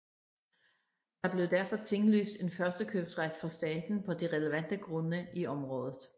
Der blev derfor tinglyst en førstekøbsret for staten på de relevante grunde i området